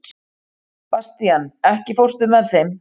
Bastían, ekki fórstu með þeim?